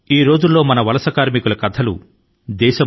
ప్రస్తుతం మన ప్రవాసీ శ్రామికుల కథ లు చాలా వినిపిస్తున్నాయి